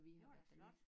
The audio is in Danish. Det var da flot